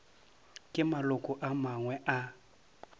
ke maloko a mangwe a